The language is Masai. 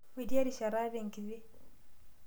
Metii erishata hata enkiti.